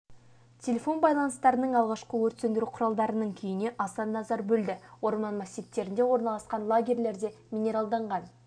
телефон байланыстарының алғашқы өрт сөндіру құралдарының күйіне аса назар бөлді орман массивтерінде орналасқан лагерлерде минералданған